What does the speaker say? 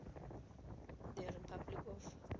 the republic of